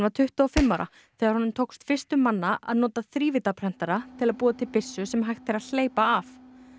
tuttugu og fimm ára þegar honum tókst fyrstum manna að nota þrívíddarprentara til að búa til byssu sem hægt er að hleypa af